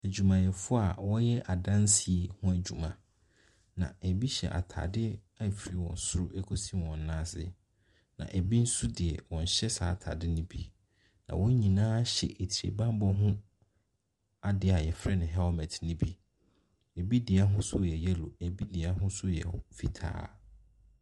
Adwumayɛfoɔ a wɔreyɛ adansie ho adwuma, na bi hyɛ ataade firi wɔn soro kɔsi wɔn nan ase, na bi nso de, wɔnhyɛ saa ataade no bi. Na wɔn nyinaa hyɛ atibammɔ ho adeɛ a yɛfrɛ no helmet ne bi. Bi deɛ ahosuo yɛ yellow, bi deɛ ahosuo yɛ wh fitaa.